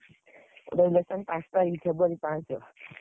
ଆମ election ପାଞ୍ଚ ତାରିଖ୍ February ପାଞ୍ଚ।